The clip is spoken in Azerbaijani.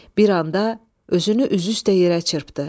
Bir anda özünü üzü üstə yerə çırpdı.